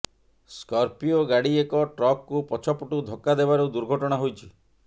Scorpio ଗାଡି ଏକ ଟ୍ରକକୁ ପଛ ପଟୁ ଧକ୍କା ଦେବାରୁ ଦୁର୍ଘଟଣା ହୋଇଛି